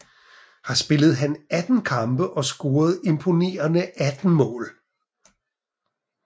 Her spillede han 18 kampe og scorede imponerende 18 mål